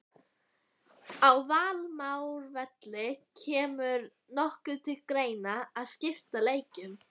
Á Varmárvelli Kemur nokkuð til greina að skipta leiknum?